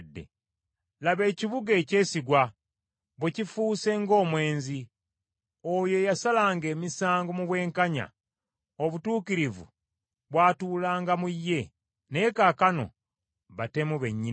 Laba ekibuga ekyesigwa bwe kifuuse ng’omwenzi! Oyo eyasalanga emisango mu bwenkanya! Obutuukirivu bwatuulanga mu ye, naye kaakano batemu bennyini nnyini!